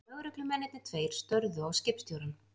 Lögreglumennirnir tveir störðu á skipstjórann.